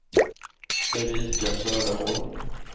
Erika Söderholm